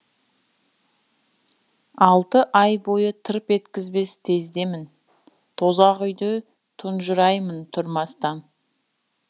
алты ай бойы тырп еткізбес тездемін тозақ үйде тұнжыраймын тұрмастан